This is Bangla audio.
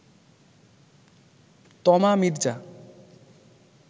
তমা মির্জা